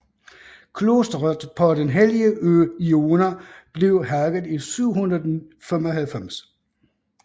Klosteret på den hellige ø Iona blev hærget i 795